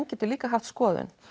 getur líka haft skoðun